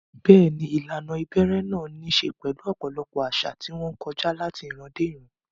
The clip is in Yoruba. Bẹ́ẹ̀ni, ìlànà ìbẹ̀rẹ̀ náà ní í ṣe pẹ̀lú ọ̀pọ̀lọpọ̀ àṣà, tí wọ́n kọjá láti ìran dé ìran.